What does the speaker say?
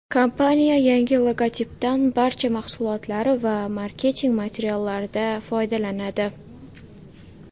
Kompaniya yangi logotipdan barcha mahsulotlari va marketing materiallarida foydalanadi.